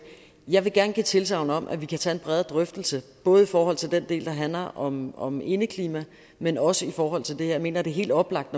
jeg gerne give tilsagn om at vi kan tage en bredere drøftelse både i forhold til den del der handler om om indeklima men også i forhold til det her jeg mener det er helt oplagt